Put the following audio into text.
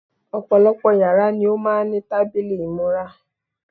Ọ̀pọ̀lọpọ̀ yàrá ni ó máà ń ní tábìlì ìmúra.